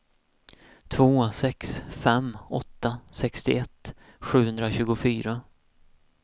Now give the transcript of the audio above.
två sex fem åtta sextioett sjuhundratjugofyra